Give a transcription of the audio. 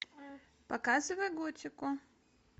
показывай готику